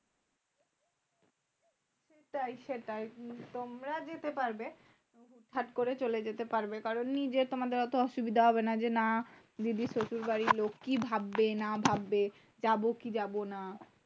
সেটাই সেটাই তোমরা যেতে পারবে সাট করে চলে যেতে পারবে। কারন, নিজে তোমাদের অত অসুবিধা হবে না। যে না, দিদির শশুর বাড়ীর লোক কি ভাববে না ভাববে? যাবো কি যাবো না?